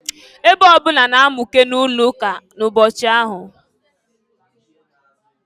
Ebe ọbụna na-amụke na-ụlọụka ụbọchị ahụ.